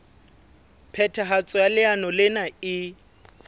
phethahatso ya leano lena e